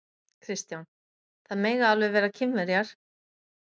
Kristján: Það mega alveg vera Kínverjar?